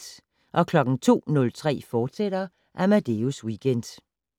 02:03: Amadeus Weekend, fortsat